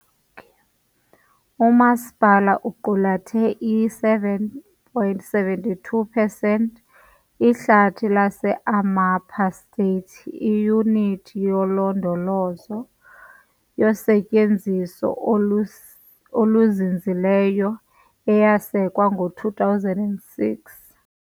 Umasipala uqulathe i-7.72 percent Ihlathi lase-Amapá State, iyunithi yolondolozo yosetyenziso oluzinzileyo eyasekwa ngo-2006.